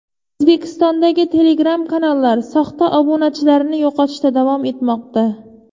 O‘zbekistondagi Telegram kanallar soxta obunachilarini yo‘qotishda davom etmoqda.